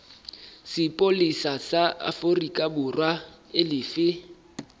sepolesa sa aforikaborwa e lefe